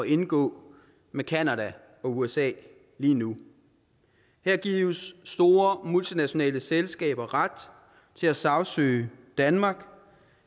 indgå med canada og usa lige nu her gives store multinationale selskaber ret til at sagsøge danmark